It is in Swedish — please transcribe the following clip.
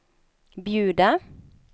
bjuda